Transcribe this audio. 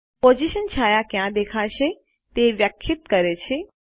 position છાયા ક્યાં દેખાશે તે વ્યાખ્યાયિત કરે છે